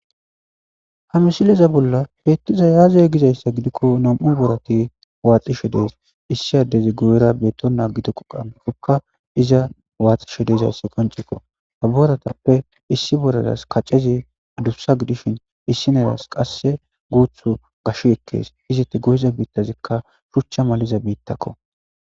Ha misileza bolla beettiza yaazey gizayssa gidikko nom7u borati waaxishe dees issi addezi go7era beettonaa gido qoqamikokka iza waaxishe deizasse qoncikko haboratappe issi boradas kaccezi adussa gidishin issi neras qasse guuthu gash ekkees izeti gohiza biittazikka shuchcha maliza biittakko.